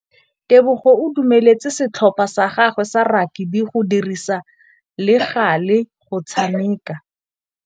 Tebogô o dumeletse setlhopha sa gagwe sa rakabi go dirisa le galê go tshameka.